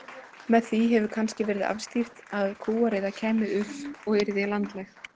Með því hefur kannski verið afstýrt að kúariða kæmi upp og yrði landlæg.